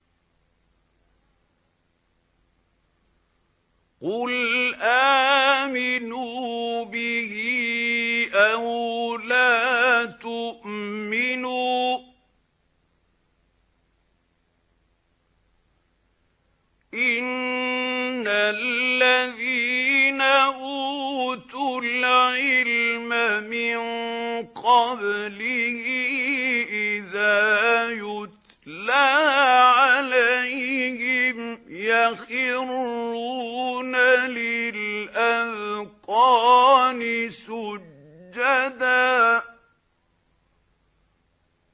قُلْ آمِنُوا بِهِ أَوْ لَا تُؤْمِنُوا ۚ إِنَّ الَّذِينَ أُوتُوا الْعِلْمَ مِن قَبْلِهِ إِذَا يُتْلَىٰ عَلَيْهِمْ يَخِرُّونَ لِلْأَذْقَانِ سُجَّدًا